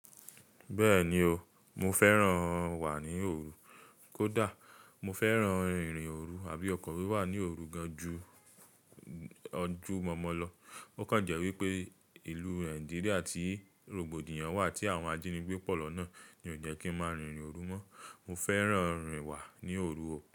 Bẹ́ẹ̀ni o, mo fẹ́ràn wà ní òru. Kódà mo fẹ́ràn rìn rin òru àbí ọkọ̀ wíwà ní òru gan ju ojú mọ́mọ́ lọ. Ó kàn jẹ́ wípé ìlú Nigeria tí rògbòdìyàn wà tí àwọn ajínigbé pọ̀ lọ náà ni ó jẹ́ kí n máa rìn irin òru mọ́. Mo fẹ́ràn rìn wà ní òru o.